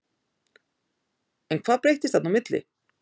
En hvað breyttist þarna á milli?